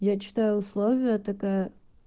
я читаю условия такая